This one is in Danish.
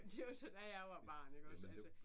Det var så da jeg var barn iggås altså